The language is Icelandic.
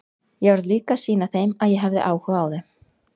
Ég varð líka að sýna að ég hefði áhuga á þeim.